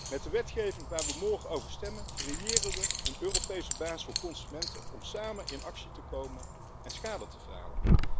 Met de wetgeving waar we morgen over stemmen, creëren we een Europese basis voor consumenten om samen in actie te komen en schade te verhalen.